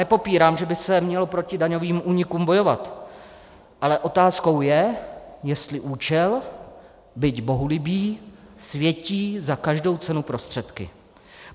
Nepopírám, že by se mělo proti daňovým únikům bojovat, ale otázkou je, jestli účel, byť bohulibý, světí za každou cenu prostředky.